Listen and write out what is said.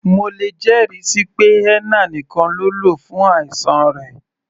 Mo lè jẹ́ ẹ̀rí síi pé henna nìkan ló lò fún àìsàn rẹ̀.